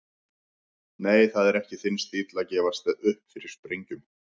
Nei, það er ekki þinn stíll að gefast upp fyrir sprengjum.